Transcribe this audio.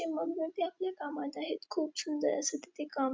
मग्न ते आपल्या कामात आहेत खूप सुंदर असं तिथे काम --